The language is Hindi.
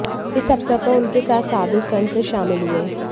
इस अवसर पर उनके साथ साधू संत शामिल हुए